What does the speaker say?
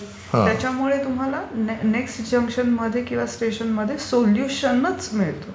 गाडी त्याच्यामुळे तुम्हाला नेक्स्ट जंक्शन किंवा स्टेशनमध्ये सोल्युशनच मिळते.